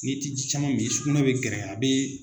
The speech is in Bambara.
N'i ti ji caman min sukunɛ bɛ gɛrɛya a bɛ.